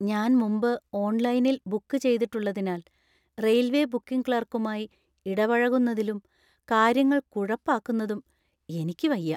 ഞാൻ മുമ്പ് ഓൺലൈനിൽ ബുക്ക് ചെയ്തിട്ടുള്ളതിനാൽ റെയിൽവേ ബുക്കിംഗ് ക്ലാർക്കുമായി ഇടപഴകുന്നതിലും കാര്യങ്ങൾ കുഴപ്പാക്കുന്നതും എനിക്ക് വയ്യ.